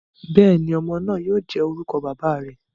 Bẹẹni, ọmọ naa yoo jẹ orukọ baba rẹ.